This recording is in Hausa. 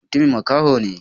Matumin makaho ne?